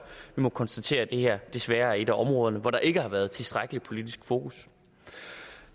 må konstatere at det her desværre er et af områderne hvor der ikke har været tilstrækkelig politisk fokus